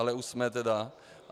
Ale už jsme tedy...